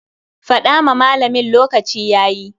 Fada ma malamin lokaci yayi.